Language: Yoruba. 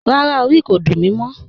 Rárá, orí mi kò dún mí mọ̀